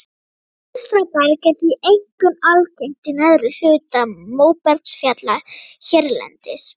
Bólstraberg er því einkum algengt í neðri hluta móbergsfjalla hérlendis.